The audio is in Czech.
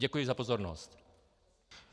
Děkuji za pozornost.